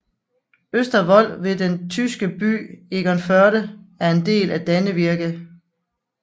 Østervold ved den tyske by Egernførde er en del af Dannevirke